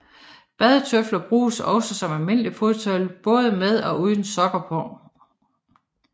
Badetøflen bruges også som almindeligt fodtøj både med og uden sokker på